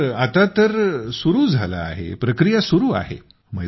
हो आता तर चालू झालं आहे प्रक्रिया सुरु आहे